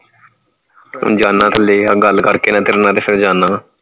ਹੁਣ ਜਾਣਾ ਥੱਲੇ ਆ ਗੱਲ ਕਰਕੇ ਨਾ ਤੇਰੇ ਨਾਲ ਤੇ ਫੇਰ ਜਾਣਾ ਆ